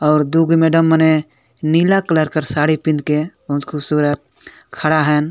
और दू गू मैडम मने नीला कलर के साड़ी पिँध के बहुत खुबसूरत खड़ा हेन।